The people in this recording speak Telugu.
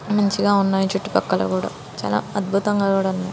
మంచిగా ఉన్నాయి. చుట్టూ పక్కల కూడా చాలా అద్భుతంగా కూడా ఉన్నాయి.